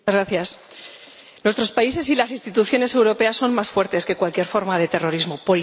Nuestros países y las instituciones europeas son más fuertes que cualquier forma de terrorismo por intenso que sea.